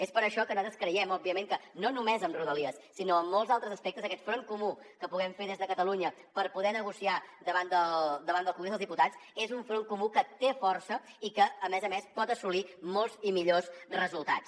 és per això que nosaltres creiem òbviament que no només amb rodalies sinó amb molts altres aspectes aquest front comú que puguem fer des de catalunya per poder negociar davant del congrés dels diputats és un front comú que té força i que a més a més pot assolir molts i millors resultats